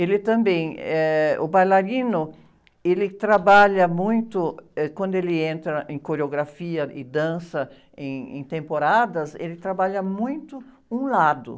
Ele também, eh, o bailarino, ele trabalha muito, eh, quando ele entra em coreografia e dança em, em temporadas, ele trabalha muito um lado.